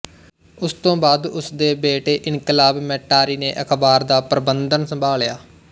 ਉਸ ਤੋਂ ਬਾਅਦ ਉਸਦੇ ਬੇਟੇ ਇਨਕਲਾਬ ਮੈਟਾਰੀ ਨੇ ਅਖ਼ਬਾਰ ਦਾ ਪ੍ਰਬੰਧਨ ਸੰਭਾਲਿਆ